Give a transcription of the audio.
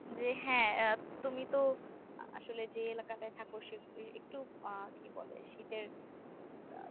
যে হ্যাঁ তুমি তো আসলে যে এলাকাটাতে থাকো সেখানে একটু আহ কি বলে শীতের